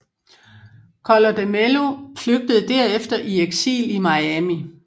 Collor de Mello flygtede derefter i eksil i Miami